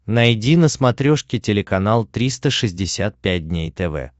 найди на смотрешке телеканал триста шестьдесят пять дней тв